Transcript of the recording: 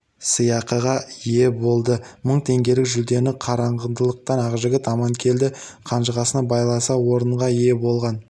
сыйақыға ие болды мың теңгелік жүлдені қарағандылық ақжігіт аманкелді қанжығысына байласа орынға ие болған